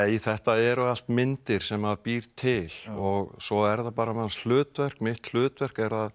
þetta eru allt myndir sem býr til og svo er það bara manns hlutverk mitt hlutverk er að